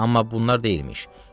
Amma bunlar deyilmiş.